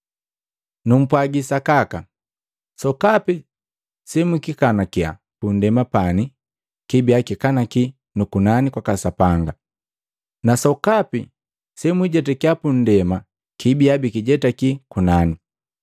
“Numpwagi sakaka, sokapi semwikikanakia punndema pani kibia bikikanaki nu kunani kwaka Sapanga, na sokapi semwakijetakiya pundema kibia bikijetaki kunani.”